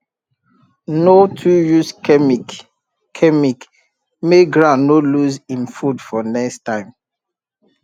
no too use chemic chemic make ground no lose him food for next time